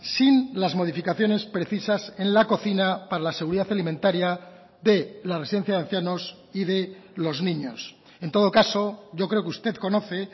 sin las modificaciones precisas en la cocina para la seguridad alimentaria de la residencia de ancianos y de los niños en todo caso yo creo que usted conoce